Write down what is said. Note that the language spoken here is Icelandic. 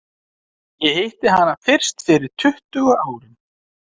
Ég hitti hana fyrst fyrir tuttugu árum.